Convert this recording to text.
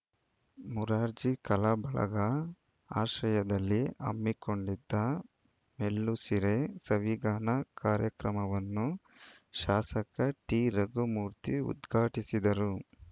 ಮುರಾರ್ಜಿ ಕಲಾ ಬಳಗ ಆಶ್ರಯದಲ್ಲಿ ಹಮ್ಮಿಕೊಂಡಿದ್ದ ಮೆಲ್ಲುಸಿರೆ ಸವಿಗಾನ ಕಾರ್ಯಕ್ರಮವನ್ನು ಶಾಸಕ ಟಿರಘುಮೂರ್ತಿ ಉದ್ಘಾಟಿಸಿದರು